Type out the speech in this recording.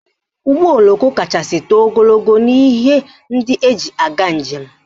Ụgbọoloko kachasị too ogologo n'ihe ndị eji aga njem